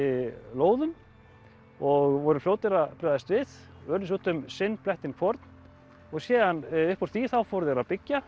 lóðum og voru fljótir að bregðast við urðu sér út um sinn blettinn hvorn og síðan upp úr því þá fóru þeir að byggja